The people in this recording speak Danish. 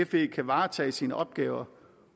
fe kan varetage sine opgaver